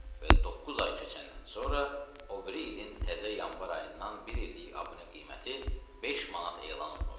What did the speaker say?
Və doqquz ay keçəndən sonra o biri ilin təzə yanvar ayından bir illik abunə qiyməti 5 manat elan olunur.